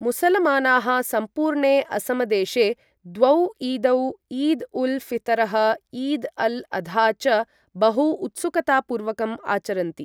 मुसलमानाः सम्पूर्णे असमदेशे द्वौ ईदौ ईद उल फितरः, ईद अल अधा च बहु उत्सुकतापूर्वकं आचरन्ति ।